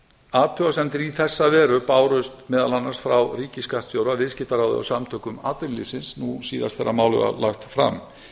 athugasemdir í þessa veru bárust meðal annars frá ríkisskattstjóra viðskiptaráðherra og samtökum atvinnulífsins nú síðast þegar málið var lagt fram